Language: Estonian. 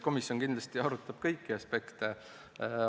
Komisjon kindlasti arutab kõiki aspekte.